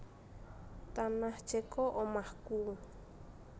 Tanah Ceko omahku